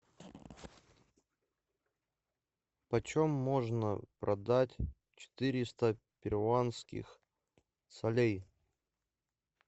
почем можно продать четыреста перуанских солей